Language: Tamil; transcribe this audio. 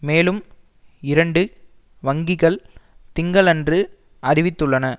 மேலும் இரண்டு வங்கிகள் திங்களன்று அறிவித்துள்ளன